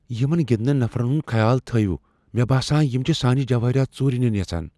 یمن گندنہٕ نفرن ہنٛد خیال تھٲیو۔ مےٚ باسان یِم چھِ سانہِ جوٲہرات ژوٗرِ نِن یژھان ۔